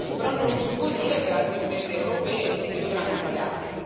Lo stesso però non si può dire per altre imprese europee che dovranno pagare.